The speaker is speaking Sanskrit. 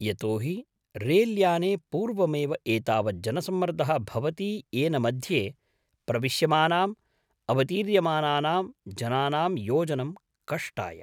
यतो हि रेल्याने पूर्वमेव एतावत् जनसम्मर्दः भवति येन मध्ये प्रविश्यमानां अवतीर्यमानानां जनानां योजनं कष्टाय।